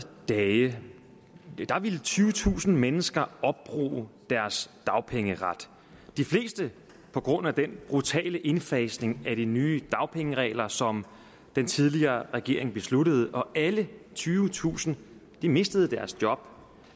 dage ville tyvetusind mennesker opbruge deres dagpengeret de fleste på grund af den brutale indfasning af de nye dagpengeregler som den tidligere regering besluttede og alle tyvetusind mistede deres job